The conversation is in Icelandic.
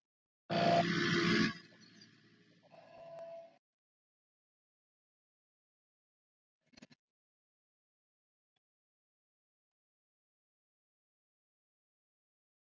Eru nógu margir að vísa á Katrínu?